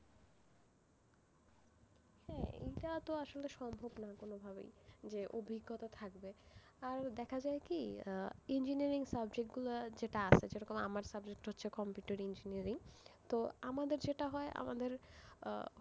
হ্যাঁ, এটা তো আসলে সম্ভব না কোন ভাবেই, যে অভিজ্ঞতা থাকবে, আর দেখা যায় কি আহ engineering subject গুলো যেটা আছে, যেরকম আমার subject হচ্ছে computer engineering তো আমাদের যেটা হয়, আমাদের, আহ